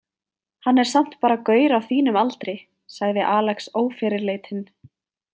Hann er samt bara gaur á þínum aldri, sagði Alex ófyrirleitinn.